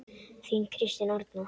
Þín Kristín Arna.